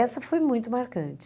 Essa foi muito marcante.